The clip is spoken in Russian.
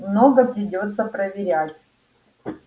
много придётся проверять